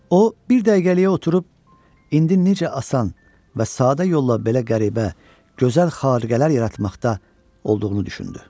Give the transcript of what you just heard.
O bir dəqiqəliyə oturub indi necə asan və sadə yolla belə qəribə, gözəl xarüqələr yaratmaqda olduğunu düşündü.